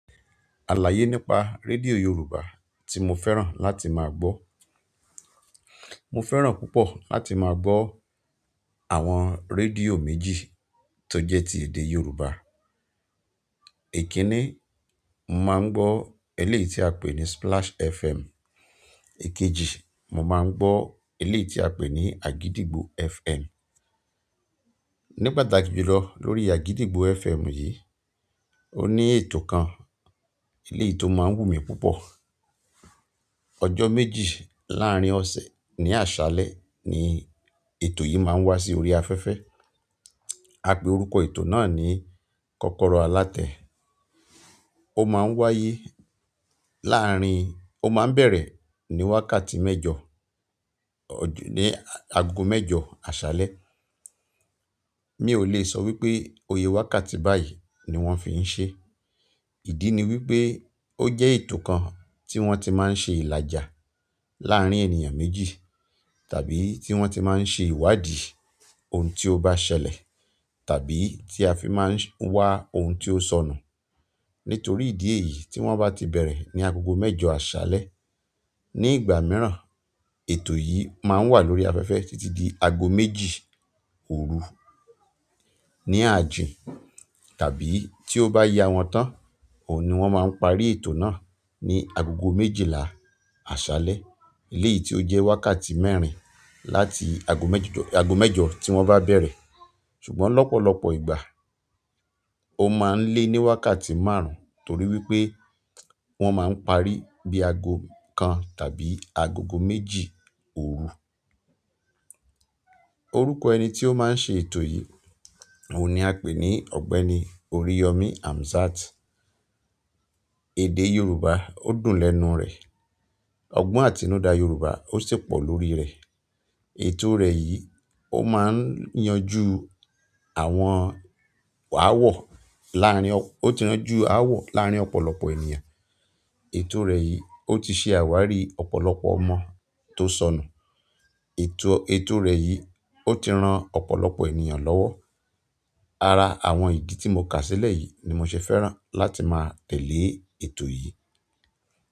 Alaye nípa radio yorùbá ti mo fẹ́ràn láti maa gbo mo fẹ́ràn púpọ̀ láti ma gbo àwọn rédíò méjì tó jẹ́ ti èdè Yorùbá. Èkínní, mo máa ń gbọ́ eléyìí tí a pè ní Splash FM. Èkejì, mo máa ń gbọ́ eléyìí tí a pè ní Agidigbo FM. Ní pàtàkì jùlọ lórí Agidigbo FM yìí, ó ní ètò kan, eléyìí tó máa ń wù mí púpọ̀. Ọjọ́ méjì láàrín ọ̀sẹ̀ ní àṣálẹ́ ni ètò yìí máa ń wá sí orí afẹ́fẹ́. A pe orúkọ ètò náà ní "Kọ́kọ́rọ́ Alátẹ". Ó máa ń wáyé láàrín-- ó máa ń bẹ̀rẹ̀ ní wákàtí mẹ́jọ, ní aago mẹ́jọ àṣálẹ́. Mi ò lè sọ wípé òye wákàtí báyìí ni wón fi ń ṣe. Idi ni wípé oje ètò kan ti won ti ma n se ilaja larin ènìyàn méjì tàbí ti won ti ma n se iwadi ohun ti o ba ṣẹlẹ̀ tàbí ti a fi ma n wa oun ti o sonu. Nítorí ìdí èyí tí wón bá ti bẹ̀rẹ̀ ní agogo mẹ́jọ àṣálẹ́, ní ìgbà mìíràn ètò yìí máa ń wà lórí afẹ́fẹ́ títí di aago méjì òru ní ààjì, tàbí tí ó bá ya wọn tán, òun ni wón máa ń parí ètò náà ní agogo méjìlá àṣálẹ́. Eléyìí tí ó jẹ́ wákàtí mẹ́rin láti aago mẹ́jọ, aago mẹ́jọ tí wón bá bẹ̀rẹ̀. Ṣùgbọ́n lọ́pọ̀lọpọ̀ ìgbà ó máa ń lé ní wákàtí márùn-ún torí wípé wón máa ń parí bí i aago kan tàbí agogo méjì òru. Orúkọ ẹni tí ó máa ń ṣe ètò yìí òun ni a pè ní Ọ̀gbẹ́ni Oriyomi Amzat. Èdè Yorùbá ó dùn lẹ́nu rẹ̀. Ọgbọ́n àtinúdá Yorùbá ó sì pọ̀ lórí rẹ̀. Ètò rẹ̀ yìí ó máa ń yanjú àwọn áwọ̀ láàrín ọ-- ó ti yánjú áwọ̀ láàrín ọ̀pọ̀lọpọ̀ ènìyàn. Ètò rẹ̀ yìí ó ti ṣe àwárí ọ̀pọ̀lọpọ̀ ọmọ tó sọnù. Ètò, ètò rẹ̀ yìí ó ti ran ọ̀pọ̀lọpọ̀ ènìyàn lọ́wọ́. Ara àwọn ìdí tí mo kà sílẹ̀ yìí ni mo ṣe fẹ́ràn láti máa tẹ̀lé ètò yìí.